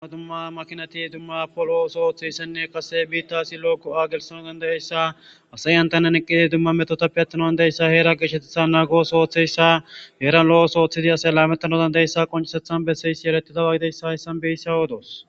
Dumma dumma makinati dumma polo oso ooththeyssenne qase biitta asi lo'okko aagelsano dandayeyssa asayantanan eqqidi dumma metotappe attanaan deyssa heera gishetetha naagoos ooththeyssa heeran lo'os ooththidi asey laamettano dandayessa qoncisethan beseyisi yeretidawagideyssa hayssan beissa oodoos.